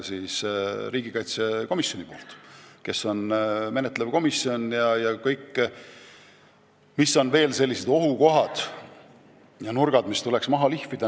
Menetlev komisjon on riigikaitsekomisjon, kes arutab läbi kõik ohukohad ja nurgad, mis tuleks maha lihvida.